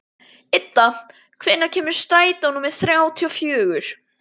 Idda, hvenær kemur strætó númer þrjátíu og fjögur?